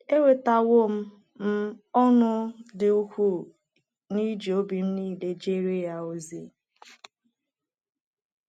Enwetawo m m ọṅụ dị ukwuu n’iji obi m niile jeere ya ozi.